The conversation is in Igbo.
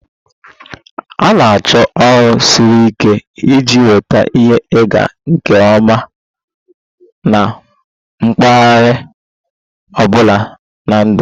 A na-achọ ọrụ siri ike iji nweta ihe ịga nke ọma na mpaghara ọ bụla na ndụ.